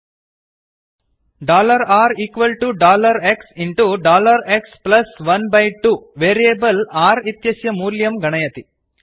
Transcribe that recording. rxएक्स12 dollar r equal to dollar x into dollar x plus one by two variable r इत्यस्य मूल्यं गणयति